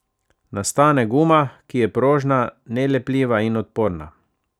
Nastane guma, ki je prožna, nelepljiva in odporna.